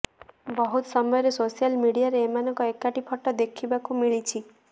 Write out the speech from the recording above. ବହୁତ ସମୟରେ ସୋସାଲ୍ ମିଡିଆରେ ଏମାନଙ୍କ ଏକାଠି ଫଟୋ ଦେଖିବାକୁ ମିଳିଛି